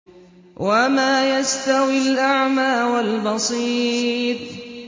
وَمَا يَسْتَوِي الْأَعْمَىٰ وَالْبَصِيرُ